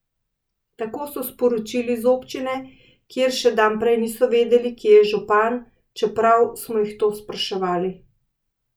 Tako so sporočili z občine, kjer še dan prej niso vedeli, kje je župan, čeprav smo jih to spraševali.